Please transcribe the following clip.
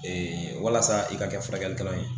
walasa i ka kɛ furakɛlikɛla ye